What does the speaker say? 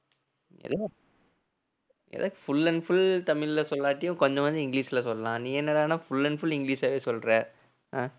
எனக்கு full and full தமிழ்ல சொல்லாட்டியும் கொஞ்சம் கொஞ்சம் இங்கிலீஷ்ல சொல்லலாம் நீ என்னடான்னா full and full இங்கிலீஷாவே சொல்ற அஹ்